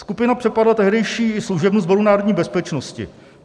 Skupina přepadla tehdejší služebnu Sboru národní bezpečnosti.